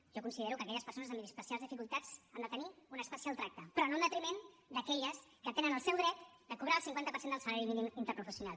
jo considero que aquelles persones amb especials dificultats han de tenir un especial tracte però no en detriment d’aquelles que tenen el seu dret a cobrar el cinquanta per cent del salari mínim interprofessional